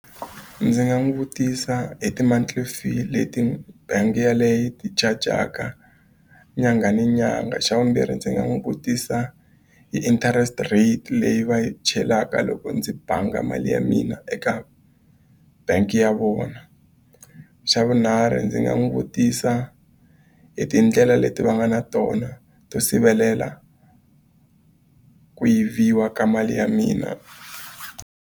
Ndzi nga n'wi vutisa hi ti-monthly fee leti bangi yeleyo yi ti charge-aka nyangha ni nyangha. Xa vumbirhi ndzi nga n'wi vutisa hi interest rate leyi va yi chelaka loko ndzi bangi mali ya mina eka bangi ya vona. Xa vunharhu ndzi nga n'wi vutisa hi tindlela leti va nga na tona to sivelela ku yiviwa ka mali ya mina.